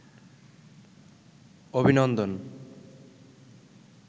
অভিনন্দন